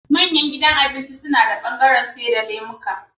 manyan gidajan abinci nada bangaran saida lemuka